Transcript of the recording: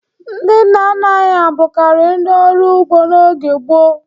Ndị nna nna anyị ha bụkarị ndị ọrụ ugbo n'oge gboo.